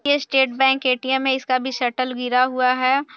ये state bank ATM. है इसका भी शटर गिरा हुआ है।